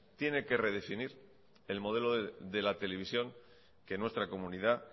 tiene que redefinir el modelo de la televisión que nuestra comunidad